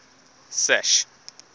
sash